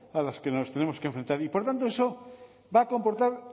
a la que nos tenemos que enfrentar y por tanto eso va a comportar